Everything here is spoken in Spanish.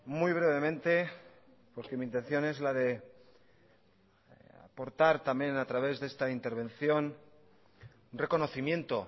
muy brevemente porque mi intención es la de aportar también a través de esta intervención reconocimiento